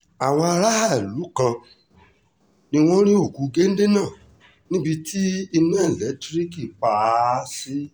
àwọn aráàlú kan ni wọ́n rí òkú géńdé náà níbi tí iná ẹlẹ́tíríìkì pa á sí